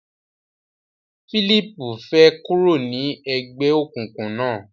Phillip fè kúrò ní ègbéòkùnkùn na.